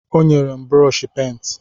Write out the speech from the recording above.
O nyere m brọshi pent.